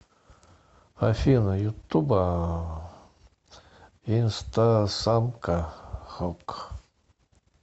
афина ютуба инстасамка хук